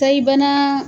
Sayi bana